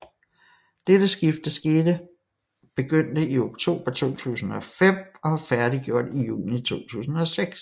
Dette skifte skete begyndte i oktober 2005 og var færdiggjort i juni 2006